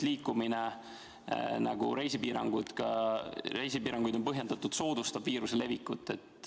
Liikumine – nii on ka reisipiiranguid põhjendatud – soodustab viiruse levikut.